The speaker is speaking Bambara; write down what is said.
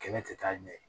Kɛnɛ tɛ taa ɲɛ